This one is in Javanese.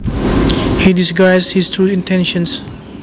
He disguised his true intentions